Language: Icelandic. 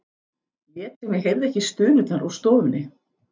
Lét sem ég heyrði ekki stunurnar úr stofunni.